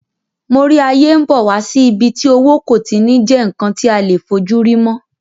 Mo rí ayé n bọ̀ wá sí ibi tí owó kò ti ní jẹ́ ǹkan tí a lè fojúrí mọ́